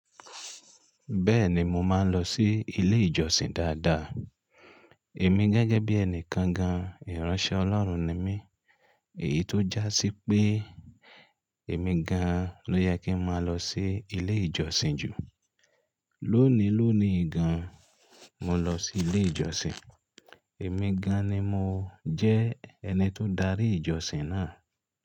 Bẹ́ẹ̀ni mo máa ń lọ sí ilé ìjọsìn dáadáa. Èmi gẹ́gẹ́ bí ẹni kankan, ìránṣẹ́ Ọlọ́run ni mí. Èyí tó jásí pé èmi gan-an ló yẹ kí máa lọ sí ilé ìjọsìn jù. Lónìí lóòní gan-an mo lọ sí ilé ìjọsìn. Èmi gan-an ni mo jẹ́ ẹni tó ń darí ìjọsìn náà.